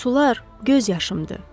Bu sular göz yaşımdır.